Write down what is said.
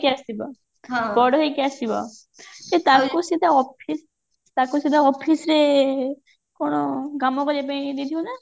ଆସିବ ବଡ ହେଇକି ଆସିବ ସେ ତାଙ୍କୁ ସିଧା office ତାକୁ ସିଧା office ରେ କଣ କାମ କରିବା ପାଇଁ ଦେଇଥିବେ ନା